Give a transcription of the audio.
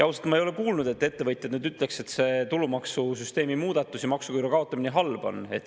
Ausalt, ma ei ole kuulnud, et ettevõtjad ütleks, et see tulumaksusüsteemi muudatus ja maksuküüru kaotamine on halb.